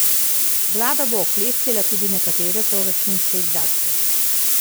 Vlada bo oklestila tudi nekatere proračunske izdatke.